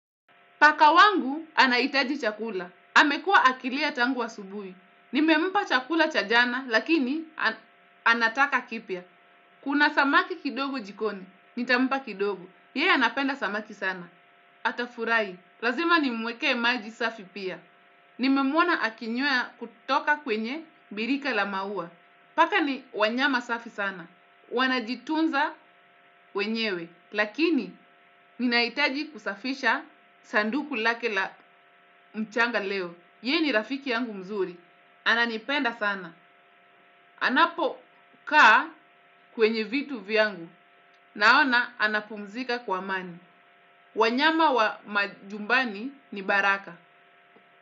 Paka wangu anahitaji chakula. Amekuwa akilia tangu wa asubuhi. Nimempa chakula cha jana, lakini anataka kipya. Kuna samaki kidogo jikoni, nitampa kidogo. Yeye anapenda samaki sana. Atafurahi, lazima nimwekee maji safi pia. Nimemwona akinywea kutoka kwenye birika la maua. Paka ni wanyama safi sana. Wanajitunza wenyewe lakini ninaitaji kusafisha sanduku lake la mchanga leo ye ni rafiki yangu mzuri ananipenda sana anapokaa kwenye vitu vyangu naona anapumzika kwa amani wanyama wa majumbani ni baraka.